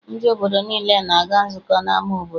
Ndị obodo niile na-aga nzukọ n'ama obodo.